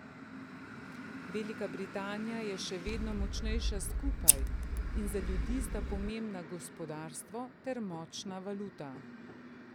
Velika Britanija je še vedno močnejša skupaj in za ljudi sta pomembna gospodarstvo ter močna valuta.